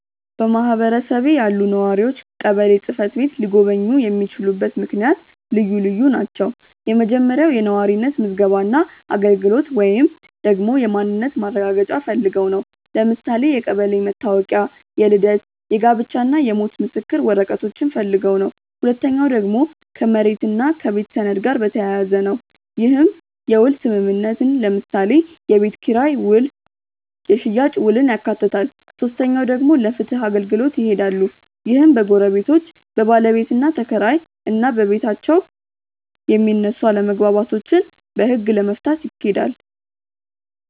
በማህበረሰቤ ያሉ ነዋሪዎች ቀበሌ ጽ/ቤት ሊጎበኙ የሚችሉበት ምክንያት ልዩ ልዩ ናቸው። የመጀመሪያው የነዋሪነት ምዝገባ እና አገልግሎት ወይንም ደግሞ የማንነት ማረጋገጫ ፈልገው ነው። ለምሳሌ የቀበሌ መታወቂያ፣ የልደት፣ የጋብቻ እና የሞት ምስክር ወረቀቶችን ፈልገው ነው። ሁለተኛው ደግሞ ከመሬት እና ከቤት ሰነድ ጋር በተያያዘ ነው። ይህም የውል ስምምነትን ለምሳሌ የቤት ኪራይ ውል የሽያጭ ውልን ያካትታል። ሶስተኛው ደግሞ ለፍትህ አገልግሎት ይሄዳሉ። ይህም በጎረቤቶች፣ በባለቤትና ተከራይ እና በቤታብ የሚነሱ አለመግባባቶችን በህግ ለመፍታት ይኬዳል።